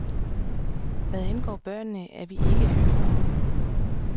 Hvad angår børnene, er vi ikke hyklere.